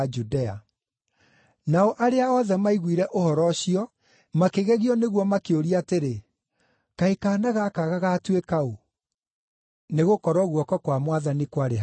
Nao arĩa othe maiguire ũhoro ũcio makĩgegio nĩguo makĩũria atĩrĩ, “Kaĩ kaana gaka gagaatuĩka ũ? Nĩgũkorwo guoko kwa Mwathani kwarĩ hamwe nako.”